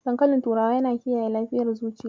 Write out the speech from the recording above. Dankalin turawa yana kiyaye lafiyar zuciya.